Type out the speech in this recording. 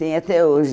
Tenho até hoje.